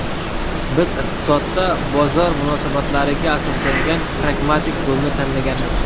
Biz iqtisodda bozor munosabatlariga asoslangan pragmatik yo‘lni tanlaganmiz.